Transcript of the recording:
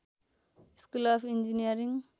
school of engineering